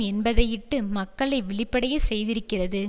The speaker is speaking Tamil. என்பதையிட்டு மக்களை விழிப்படையச் செய்திருக்கிறது